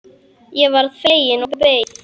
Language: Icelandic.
Ég varð fegin og beið.